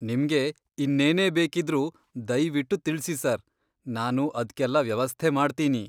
ನಿಮ್ಗೆ ಇನ್ನೇನೇ ಬೇಕಿದ್ರೂ ದಯ್ವಿಟ್ಟು ತಿಳ್ಸಿ ಸಾರ್, ನಾನು ಅದ್ಕೆಲ್ಲ ವ್ಯವಸ್ಥೆ ಮಾಡ್ತೀನಿ.